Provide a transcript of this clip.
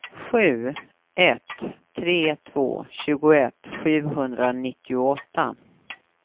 sju ett tre två tjugoett sjuhundranittioåtta